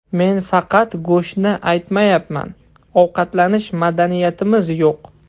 Men faqat go‘shtni aytmayapman, ovqatlanish madaniyatimiz yo‘q”.